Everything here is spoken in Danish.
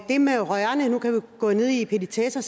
det med rørene nu kan vi gå ned i petitesser